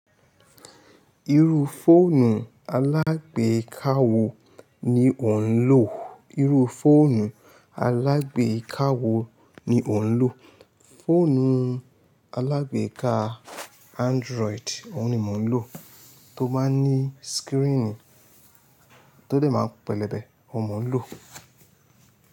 Irú fóònù alágbèká wo ni o ń lò? Irú fóònù alágbèká wo ni o ń lò? Fóònù alágbèká Android òun ni mo ń lò, tó má ní screen tó dè máa n pẹlẹbẹ, òun ni mo ń lò.